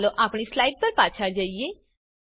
ચાલો આપણી સ્લાઇડ પર પાછા જઈએ